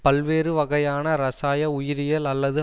பல்வேறு வகையான இரசாய உயிரியல் அல்லது